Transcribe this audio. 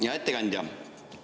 Hea ettekandja!